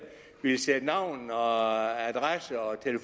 vil sætte navn